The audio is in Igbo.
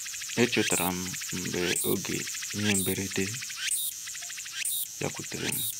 E chetara m oge ihe mberede bịakwutere m.